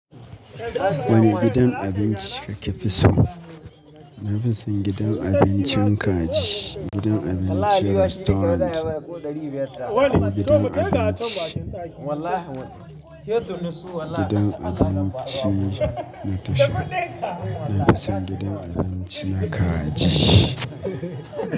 Wane gidan abinci kake fi so? Na fi son gidan abincin kaji, gidan abinci restaurant ko gidan abinci, gidan abinci na tashar. Na fi son gidan abinci na kaji.